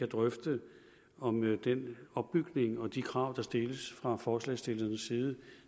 drøfte om den opbygning og de krav der stilles fra forslagsstillernes side